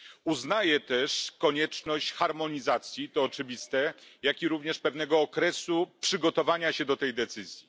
Uznaję też konieczność harmonizacji, to oczywiste, jak również pewnego okresu przygotowania się do tej decyzji.